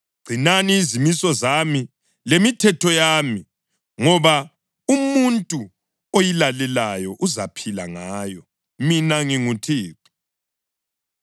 Gcinani izimiso zami lemithetho yami, ngoba umuntu oyilalelayo uzaphila ngayo. Mina nginguThixo.